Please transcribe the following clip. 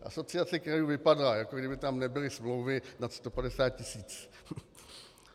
Asociace krajů vypadá, jako kdyby tam nebyly smlouvy nad 150 tisíc.